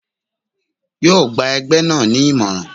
Yóò gba ẹgbẹ́ náà ni ìmọ̀ràn.